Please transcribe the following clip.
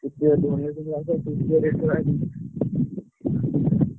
।